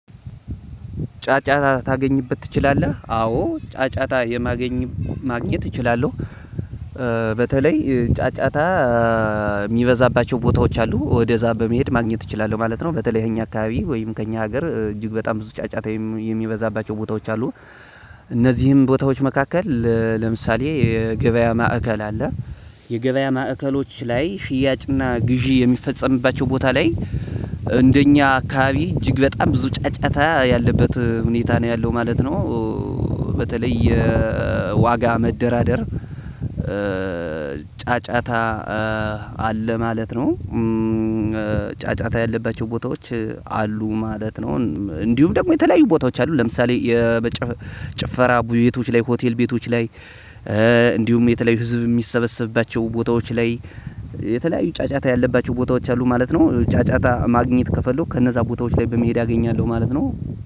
ጫጫታ ታገኝበት ትችላለህ አዎ ጫጫታ ማግኘት እችላለሁ። በተለይ ጫጫታ እሚበዛባቸው ቦታዎች አሉ ወደዛ በመሄድ ማግኘት እችላለሁ ማለት ነው። በተለይ እኛ አካባቢ ወይም ከእኛ ሀገር እጅግ በጣም ብዙ ጫጫታ የሚበዛባቸው ቦታዎች አሉ። እነዚህም ቦታዎች መካከል ለምሳሌ የገበያ ማዕከል አለ የገበያ ማዕከሎች ላይ ሽያጭና ግዢ የሚፈጸምባቸው ቦታ ላይ እንደኛ አካባቢ እጅግ በጣም ብዙ ጫጫታ ያለበት ሁኔታ ነው ያለው ማለት ነው። በተለይ የዋጋ መደራደር ጫጫታ አለ ማለት ነው። ጫጫታ ያለባቸው ቦታዎች አሉ ማለት ነው። እንዲሁም ደግሞ የተለያዩ ቦታዎች አሉ ለምሳሌ። ጭፈራ ቤቶች ላይ ሆቴል ቤቶች ላይ እንዲሁም የተለያዩ ህዝብ እሚሰበሰብባቸው ቦታዎች ላይ የተለያዩ ጫጫታ ያለባቸው ቦታዎች አሉ ማለት ነው። ጫጫታ ማግኘት ከፈለኩ ከነዛ ቦታዎች ላይ በመሄድ አገኛለሁ ማለት ነው።